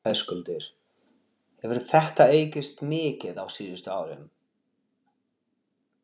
Höskuldur: Hefur þetta aukist mikið á síðustu árum?